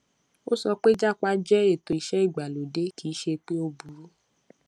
ó sọ pé jápa jẹ ètò iṣẹ ìgbàlódé kì í ṣe pé ó burú